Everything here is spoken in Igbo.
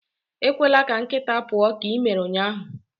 ekwela ka nkịta pụọ ​​ka i mere ụnyahụ!